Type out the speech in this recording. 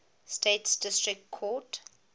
states district court